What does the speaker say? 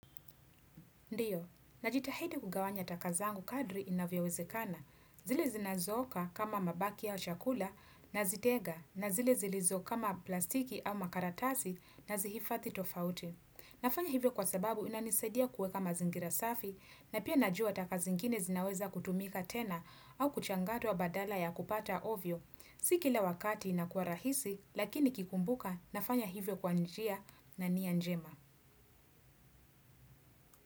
Ndio, najitahidi kugawanya taka zangu kadri inavyowezekana. Zile zinazo oka kama mabaki ya chakula nazitega na zile zilizo kama plastiki au makaratasi na zihifadhi tofauti. Nafanya hivyo kwa sababu inanisaidia kuweka mazingira safi na pia najua taka zingine zinaweza kutumika tena au kuchangatwa badala ya kupata ovyo. Si kila wakati inakuwa rahisi lakini nikikumbuka nafanya hivyo kwa njia na nia njema.